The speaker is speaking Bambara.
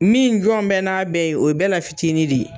Min jɔn bɛ n'a bɛɛ ye, o ye bɛɛ la fitinin de ye.